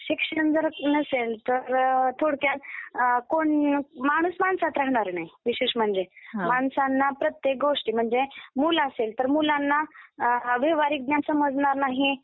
शिक्षण जर नसेल तर थोडक्यात कोण माणूस माणसात राहणार नाही. विशेष म्हणजे माणसांना प्रत्येक गोष्टी म्हणजे मूल असेल तर मुलांना व्यावहारिक ज्ञान समजणार नाही.